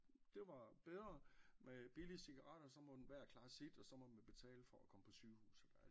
Det var bedre med billige cigaretter og så en hver klare sit og så må man betale for at komme på sygehus